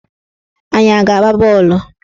Anyị a ga-agba bọọlụ?